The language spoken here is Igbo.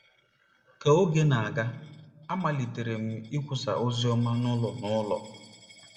Ka oge na-aga, amalitere m ịkwusa oziọma n'ụlọ n'ụlọ.